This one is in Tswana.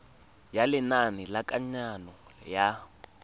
ya lenane la kananyo ya